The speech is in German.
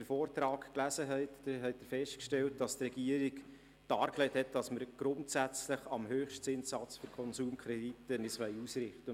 Im Vortrag hat die Regierung dargelegt, dass sie sich grundsätzlich am Höchstzinssatz für Konsumkredite ausrichten wird.